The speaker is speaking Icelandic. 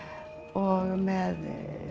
og með